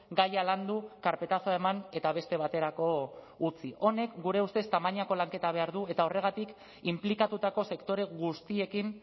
gaia landu karpetazoa eman eta beste baterako utzi honek gure ustez tamainako lanketa behar du eta horregatik inplikatutako sektore guztiekin